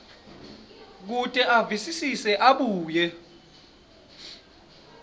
kute avisise abuye